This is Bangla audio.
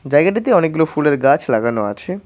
জায়গাটিতে অনেকগুলো ফুলের গাছ লাগানো আছে।